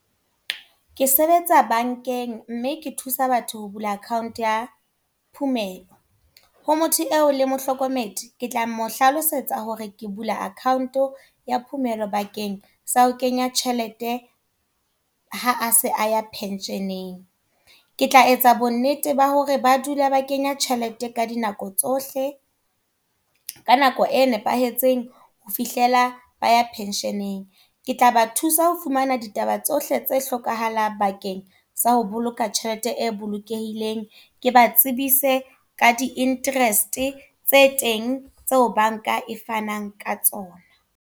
Ke sebetsa bank-eng, mme ke thusa batho ho bula account ya phumelo. Ho motho eo le mohlokomedi, ke tla mo hlalosetsa hore ke bula account ya phumelo bakeng sa ho kenya tjhelete, ha se a ya pension-eng. Ke tla etsa bonnete ba hore ba dula ba kenya tjhelete ka dinako tsohle. Ka nako e nepahetseng ho fihlela ba ya pension-eng. Ke tla ba thusa ho fumana ditaba tsohle tse hlokahalang bakeng tsa ho boloka tjhelete e bolokehileng. Ke ba tsebise ka di-interest, tse teng tseo bank-a e fanang ka tsona.